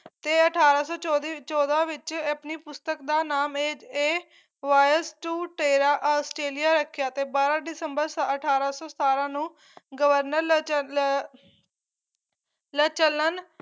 ਤੇ ਅਠਾਰਾਂ ਸੌ ਚੋਦੀ ਚੋਦਾਂ ਵਿੱਚ ਐ ਆਪਣੀ ਪੁਸਤਕ ਦ ਨਾਮ ਏਜ a voyage to terra australia ਰੱਖਿਆ ਬਾਰਾ ਦਿਸੰਬਰ ਅਠਾਰਾਂ ਸੌ ਸਤਾਰਾਂ ਨੂੰ ਗਵਰਨਰ ਲਚਲ ਲਚਲਨ